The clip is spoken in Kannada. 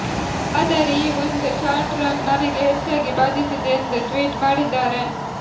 ಆದರೆ ಈ ಒಂದು ಶಾರ್ಟ್ ರನ್ ನನಗೆ ಹೆಚ್ಚಾಗಿ ಬಾದಿಸಿದೆ ಎಂದು ಟ್ವೀಟ್ ಮಾಡಿದ್ದಾರೆ